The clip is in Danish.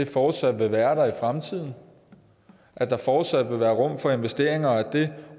fortsat vil være der i fremtiden at der fortsat vil være rum for investeringer og at det